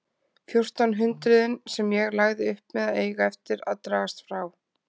Fjórtán hundruðin sem ég lagði upp með eiga eftir að dragast frá.